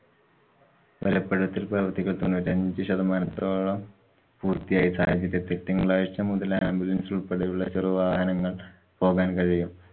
ബലപ്പെടുത്തല്‍ പ്രവര്‍ത്തികള്‍ തൊണ്ണൂറ്റിഅഞ്ചു ശതമാനത്തോളം പൂര്‍ത്തിയായ സാഹചര്യത്തില്‍ തിങ്കളാഴ്ച മുതല്‍ ambulance ഉള്‍പ്പെടെയുള്ള ചെറു വാഹനങ്ങള്‍ പോകാന്‍ കഴിയും.